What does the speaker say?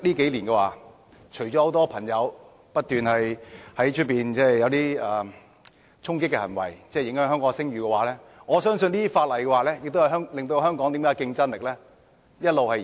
近年很多人不斷作出衝擊的行為，影響香港的聲譽，而這些法例亦令香港的競爭力一直下降。